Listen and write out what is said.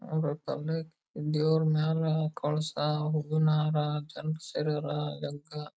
ಹಾಗು ಅದಕೆ ಬಾರಿ ಡೆಕೋರೇಷನ್ ಮಾಡಿ ಬಾರಿ ಚೆನ್ನಾಗಿ ಮಾಡ್ತಾರೆ.